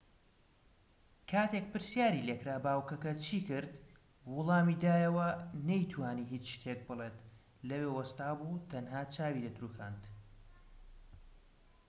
کاتێک پرسیاری لێکرا باوكەکە چی کرد وەڵامی دایەوە نەی توانی هیچ شتێک بڵێت لەوێ وەستا بوو تەنها چاوی دەتروکاند